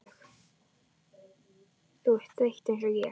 Þú ert þreytt einsog ég.